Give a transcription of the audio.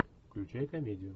включай комедию